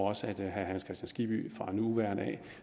også at herre hans kristian skibby fra nu af